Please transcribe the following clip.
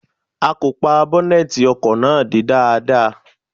A kò pa bọ́nẹ́tì ọkọ̀ náà dé dáadáa.